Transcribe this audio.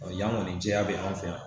Yan ŋɔni jɛya bɛ an fɛ yan